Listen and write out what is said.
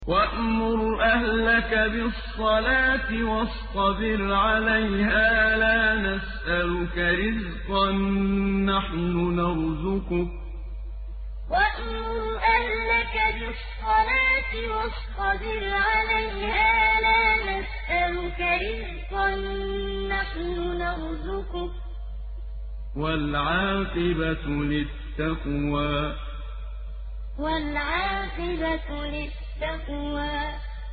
وَأْمُرْ أَهْلَكَ بِالصَّلَاةِ وَاصْطَبِرْ عَلَيْهَا ۖ لَا نَسْأَلُكَ رِزْقًا ۖ نَّحْنُ نَرْزُقُكَ ۗ وَالْعَاقِبَةُ لِلتَّقْوَىٰ وَأْمُرْ أَهْلَكَ بِالصَّلَاةِ وَاصْطَبِرْ عَلَيْهَا ۖ لَا نَسْأَلُكَ رِزْقًا ۖ نَّحْنُ نَرْزُقُكَ ۗ وَالْعَاقِبَةُ لِلتَّقْوَىٰ